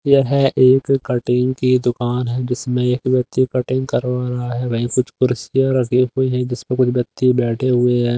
यह है एक कटिंग की दुकान है जिसमें एक व्यक्ति कटिंग करवा रहा है वहीं कुछ कुर्सियां रखी हुई है जिस पर कुछ व्यक्ति बैठे हुए हैं।